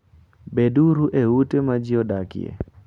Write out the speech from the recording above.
Beduru e ute ma ji odakie.